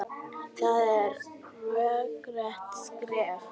Það er rökrétt skref.